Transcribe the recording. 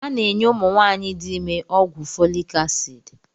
A na-enye ụmụ nwaanyị dị ime ọgwụ Folik asidi